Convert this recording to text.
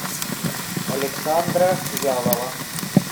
александра вялова